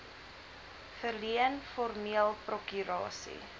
verleen formeel prokurasie